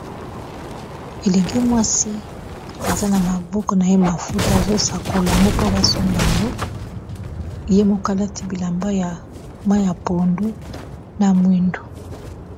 Elenge mwasi aza na maboko na ye mafuta azosakolango po basomba ango ye mokalati bilamba ya ma ya pondu na mwindu